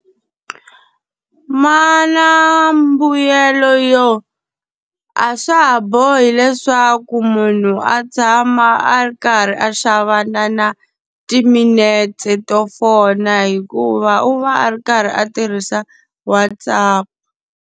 Ma na mbuyelo yo a swa ha bohi leswaku munhu a tshama a ri karhi a xava na na timinetse to fona hikuva u va a ri karhi a tirhisa WhatsApp.